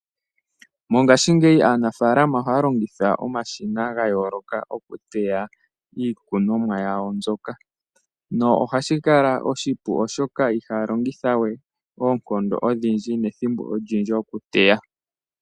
Mongaashi aanafaalama ohaa longitha omashina ga yooloka oku teya iikunomwa y